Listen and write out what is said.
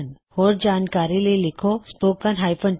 ਜੋ ਵੀ online test pass ਕਰਦਾ ਹੈ ਉਸਨੂੰ ਸਰਟੀਫਿਕੇਟ ਦਿੱਤੇ ਜਾਉਂਦੇ ਨੇਂ